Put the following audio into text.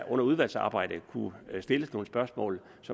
under udvalgsarbejdet kunne stilles nogle spørgsmål så